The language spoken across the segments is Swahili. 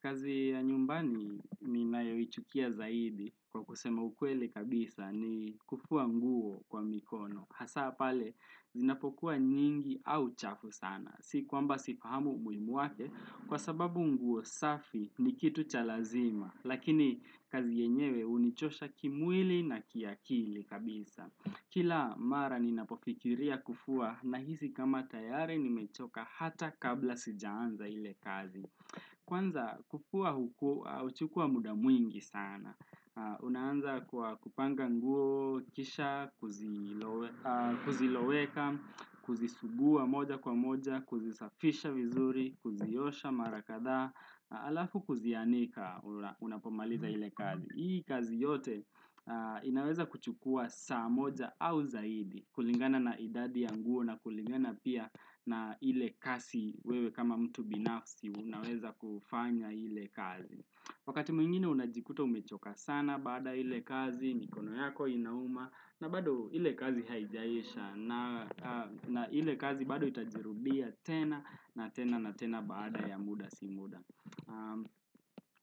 Kazi ya nyumbani ninayoichukia zaidi kwa kusema ukweli kabisa ni kufua nguo kwa mikono. Hasa pale, zinapokuwa nyingi au chafu sana. Si kwamba sifahamu umuhimu wake kwa sababu nguo safi ni kitu cha lazima. Lakini kazi yenyewe hunichosha kimwili na kiakili kabisa. Kila mara ninapofikiria kufua nahisi kama tayari nimechoka hata kabla sijaanza ile kazi. Kwanza kufua huku, huchukua muda mwingi sana. Unaanza kwa kupanga nguo kisha, kuziloweka, kuzisugua moja kwa moja, kuzisafisha vizuri, kuziosha mara kadhaa, halafu kuzianika unapomaliza ile kazi. Hii kazi yote inaweza kuchukua saa moja au zaidi kulingana na idadi ya nguo na kulingana pia na ile kasi wewe kama mtu binafsi unaweza kufanya ile kazi. Wakati mwingine unajikuta umechoka sana bada ile kazi mikono yako inauma na bado ile kazi haijaisha na ile kazi bado itajirudia tena na tena na tena baada ya muda si muda.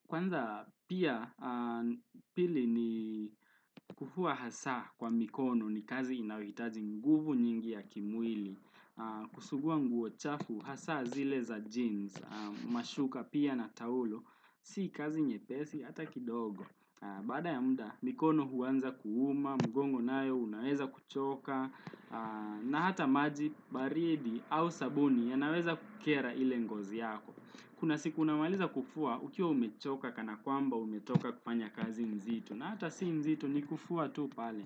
Kwanza pia pili ni kufua hasa kwa mikono ni kazi inayohitaji nguvu nyingi ya kimwili Kusugua nguo chafu hasa zile za jeans mashuka pia na taulo Si kazi nyepesi hata kidogo Baada ya muda, mikono huanza kuuma, mgongo nayo unaweza kuchoka na hata maji baridi au sabuni yanaweza kukera ile ngozi yako Kuna siku unamaliza kufua, ukiwa umechoka kana kwamba umetoka kufanya kazi nzito na hata si nzito ni kufua tu pale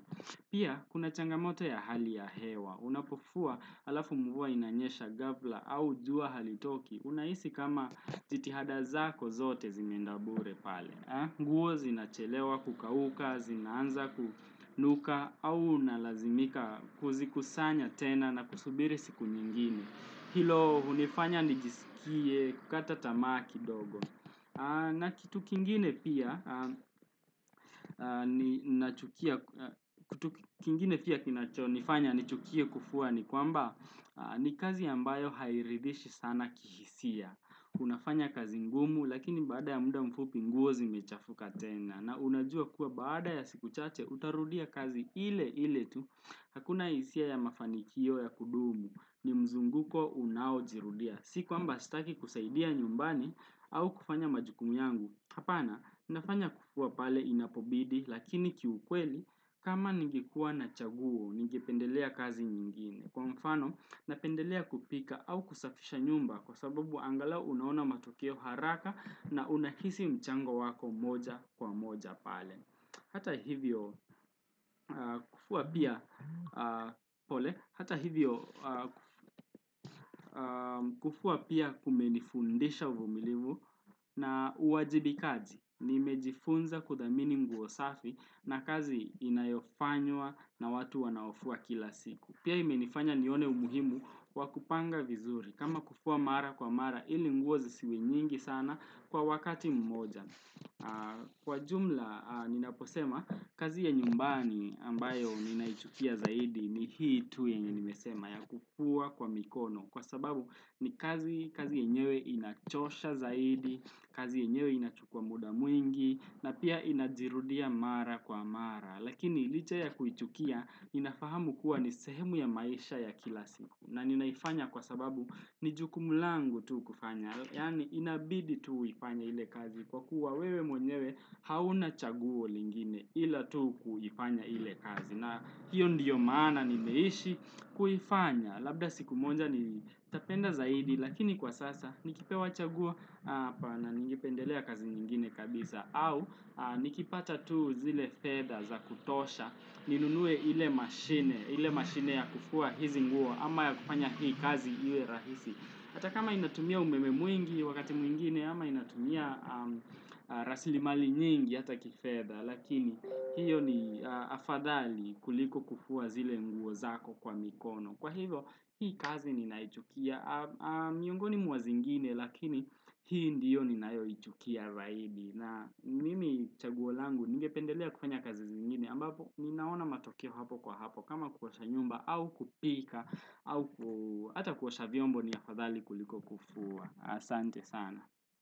Pia, kuna changamoto ya hali ya hewa Unapofua halafu mvua inanyesha ghafla au jua halitoki Unahisi kama jitihada zako zote zimeenda bure pale nguo zinachelewa kukauka, zinanza kunuka au unalazimika kuzikusanya tena na kusubiri siku nyingine. Hilo hunifanya nijisikie kukata tamaa kidogo. Na kitu kingine pia kingine pia kinacho nifanya nichukie kufua ni kwamba ni kazi ambayo hairidhishi sana kihisia. Unafanya kazi ngumu lakini baada ya muda mfupi nguo zimechafuka tena. Na unajua kuwa baada ya siku chache utarudia kazi ile ile tu. Hakuna hisia ya mafanikio ya kudumu. Ni mzunguko unaojirudia. Si kwamba sitaki kusaidia nyumbani au kufanya majukumu yangu. Hapana, nafanya kufua pale inapobidi Lakini kiukweli kama ningekuwa na chaguo Ningependelea kazi nyingine Kwa mfano, napendelea kupika au kusafisha nyumba Kwa sababu angala unaona matokio haraka na unahisi mchango wako moja kwa moja pale. Hata hivyo kufua pia, pole. Hata hivyo, kufua pia kumenifundisha uvumilivu na uwajibikaji. Nimejifunza kudhamini mguo safi na kazi inayofanywa na watu wanaofua kila siku. Pia imenifanya nione umuhimu kwa kupanga vizuri. Kama kufua mara kwa mara, ili nguo zisiwe nyingi sana kwa wakati mmoja. Kwa jumla ninaposema kazi ya nyumbani ambayo ninaichukia zaidi ni hii tu yenye nimesema ya kufua kwa mikono. Kwa sababu ni kazi kazi yenyewe inachosha zaidi, kazi yenyewe inachukua muda mwingi na pia inajirudia mara kwa mara Lakini licha ya kuichukia ninafahamu kuwa ni sehemu ya maisha ya kila siku. Na ninaifanya kwa sababu ni jukumu langu tu kufanya. Yaani inabidi tu uifanye ile kazi Kwa kuwa wewe mwenyewe hauna chaguo lingine Ila tu kuifanya ile kazi. Na hiyo ndiyo maana nimeishi kuifanya. Labda siku moja ni tapenda zaidi Lakini kwa sasa nikipewa chaguo, hapana na ningependelea kazi nyingine kabisa au nikipata tu zile fedhs za kutosha ninunue ile maschine, ile mashine ya kufua hizi nguo ama ya kufanya hii kazi iwe rahisi. Hata kama inatumia umeme mwingi wakati mwingine ama inatumia rasili mali nyingi hata kifedha. Lakini hiyo ni afadhali kuliko kufua zile mguo zako kwa mikono. Kwa hivo hii kazi ninaichukia miongoni mwa zingine lakini hii ndiyo ninayoichukia zaidi. Na mimi chaguo langu ningependelea kufanya kazi zingine ambapo ninaona matokeo hapo kwa hapo. Kama kuosha nyumba au kupika au Hata kuosha vyombo ni afadhali kuliko kufua. Asante sana.